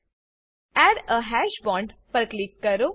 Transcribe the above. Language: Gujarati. add a hash bond add a hash bond પર ક્લિક કરો